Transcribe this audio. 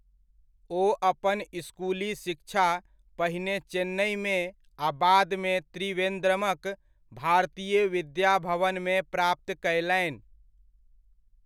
ओ अपन इसकुली शिक्षा पहिने चेन्नइमे आ बादमे त्रिवेन्द्रमक भारतीय विद्या भवनमे प्राप्त कयलनि।